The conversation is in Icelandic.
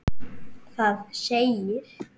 Það segir